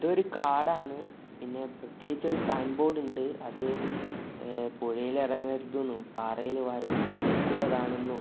ഇതൊരു കാടാണ് പിന്നെ പ്രത്യേകിച്ച് ഒരു സൈൻ ബോർഡ് ഇണ്ട് അത് എ പുഴയിൽ ഇറങ്ങരുതെന്നും പാറയിൽ വഴു വഴുക്കുള്ളതാണെന്നും --